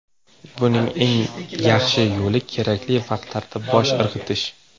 Buning eng yaxshi yo‘li kerakli vaqtlarda bosh irg‘itish.